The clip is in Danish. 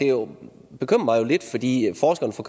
jo lidt fordi forskerne fra